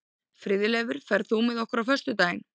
Friðleifur, ferð þú með okkur á föstudaginn?